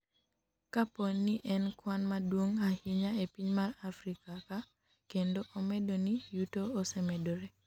kapo ni en kwan maduong' ahinya e piny mar Afrika ka kendo omedo ni yuto osemedore